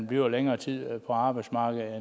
bliver længere tid på arbejdsmarkedet